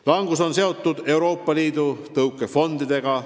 Langus on seotud Euroopa Liidu tõukefondidega.